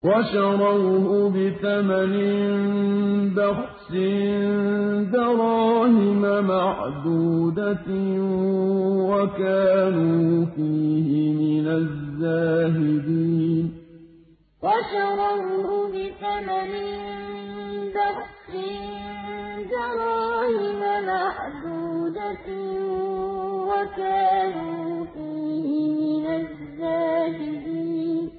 وَشَرَوْهُ بِثَمَنٍ بَخْسٍ دَرَاهِمَ مَعْدُودَةٍ وَكَانُوا فِيهِ مِنَ الزَّاهِدِينَ وَشَرَوْهُ بِثَمَنٍ بَخْسٍ دَرَاهِمَ مَعْدُودَةٍ وَكَانُوا فِيهِ مِنَ الزَّاهِدِينَ